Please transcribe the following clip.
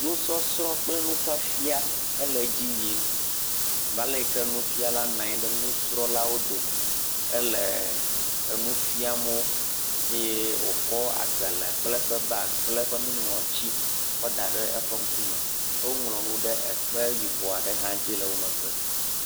Nusɔsrɔ̃ kple nufafia ele dzi yim abe ale yi ke nufiala nɔ anyi ɖe nusrɔ̃lawo dome. Ele enu fiam wo eye wòkɔ agbalẽ kple eƒe baagi kple eƒe nuŋlɔtsi kɔda ɖe eƒe ŋkume. Ke woŋlɔ nu ɖe ekpe yibɔ aɖe dzi le wo megbe.